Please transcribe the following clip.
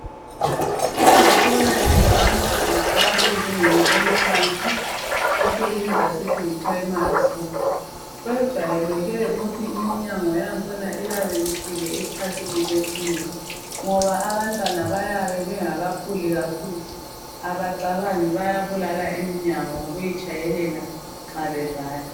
Ezikolweni zabantwana abasezingeni eliphansi esikubiza sithi yiprayimari skulu kujayeleke ukuthi iminyango yakhona iyabe ifile esikhathini esinengi ngoba abantwana bayabe bengakakhuli kakhulu abacabangi bayabulala iminyango ngokuyitshayelela nxa bevala.